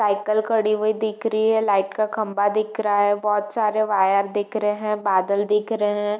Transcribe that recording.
Cycle खड़ी हुई दिख रही है लाइट का खम्बा दिख रहा है बहोत सारे वायर दिख रहे हैं बादल दिख रहे हैं।